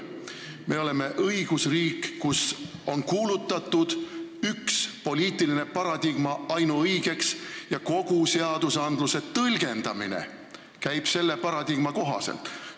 Me oleme õigusriik, kus on kuulutatud üks poliitiline paradigma ainuõigeks ja kogu seadusandluse tõlgendamine käib selle paradigma kohaselt.